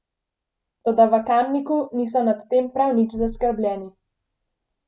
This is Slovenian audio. Toda v Kamniku niso nad tem prav nič zaskrbljeni.